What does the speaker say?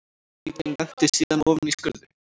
Bíllinn lenti síðan ofan í skurði